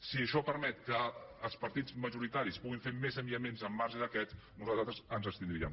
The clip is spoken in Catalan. si això permet que els partits majoritaris puguin fer més enviaments al marge d’aquest nosaltres ens abstindríem